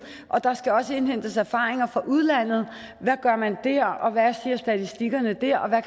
der skal også indhentes erfaringer fra udlandet hvad gør man der hvad siger statistikkerne der og